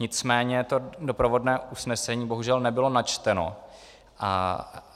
Nicméně to doprovodné usnesení bohužel nebylo načteno.